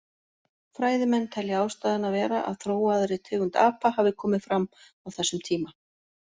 Fræðimenn telja ástæðuna vera að þróaðri tegund apa hafi komið fram á þessum tíma.